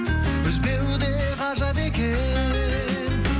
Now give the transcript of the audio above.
үзбеу де ғажап екен